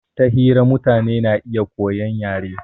Ta hira mutane na iya koyan yare